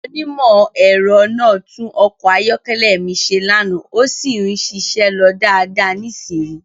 Onímọ̀-ẹ̀rọ náà tún ọkọ̀ ayọ́kẹ́lẹ́ mi ṣe lánàá, ó sì ń ṣiṣẹ́ lọ dáadáa nísìnyìí.